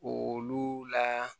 Olu la